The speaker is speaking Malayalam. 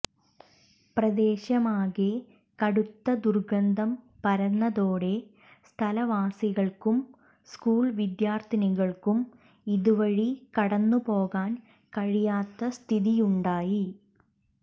പ്രദേശമാകെ കടുത്ത ദുർഗന്ധം പരന്നതോടെ സ്ഥലവാസികൾക്കും സ്കൂൾ വിദ്യാർഥികൾക്കും ഇതുവഴി കടന്നുപോകാൻ കഴിയാത്ത സ്ഥിതിയുണ്ടായി